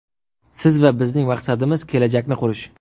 Siz va bizning maqsadimiz kelajakni qurish.